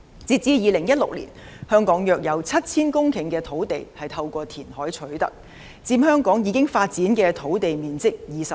截至2016年，香港約有 7,000 公頃的土地是透過填海取得的，佔香港已發展土地面積 25%。